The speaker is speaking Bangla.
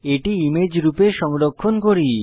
এটি ইমেজ রূপে সংরক্ষণ করুন